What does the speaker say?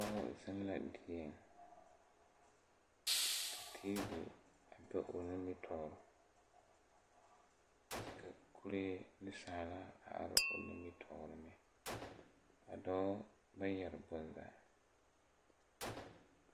Pɔge zeŋ la dieŋ ka teevi a be o nimitoore kyɛ ka kuree neŋsaala a are o nimitoore meŋ a dɔɔ ba yɛre bonzaa.